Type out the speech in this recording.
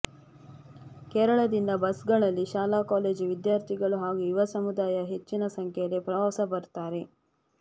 ಕೇರಳದಿಂದ ಬಸ್ಗಳಲ್ಲಿ ಶಾಲಾ ಕಾಲೇಜು ವಿದ್ಯಾರ್ಥಿಗಳು ಹಾಗೂ ಯುವ ಸಮುದಾಯ ಹೆಚ್ಚಿನ ಸಂಖ್ಯೆಯಲ್ಲಿ ಪ್ರವಾಸ ಬರುತ್ತಾರೆ